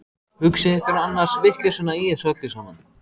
Hugsið ykkur annars vitleysuna í þessu öllu saman!